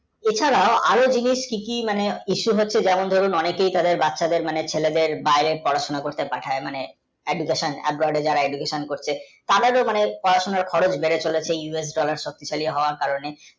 এ ছাড়াও আরও জিনিষ কি কি মানে eisu হচ্ছে যেমন দরুন অনেকের তাদের বাচ্ছাদের মানে ছেলেদের বাইরে পড়া শোনা করতে পাঠায় হ্যাঁ মানে যারা education করতে তাদেরও মানে পড়াশোনার খরচ বেরচেলছে us dollar এর শক্তিশালী হওয়া কারণে